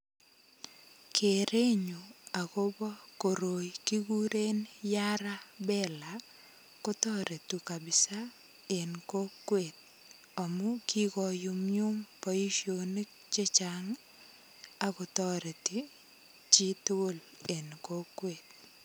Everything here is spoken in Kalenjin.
Kerenyun agobo koroi kikuren YaraBela. Kotoretu kapisa en kokwet amu kikonyumnyum boisionik che chang agotoreti chitugul en kokwet.